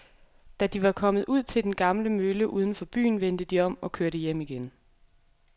Da de var kommet ud til den gamle mølle uden for byen, vendte de om og kørte hjem igen.